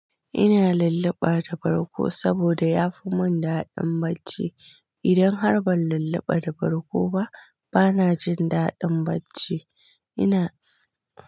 Ina lulluɓa da barkgo saboda yafi mun daɗin bacci. Idan har ban lulluɓa da barko ba, bana jin daɗin bacci. Ina.